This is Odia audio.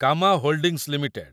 Cama holdings limited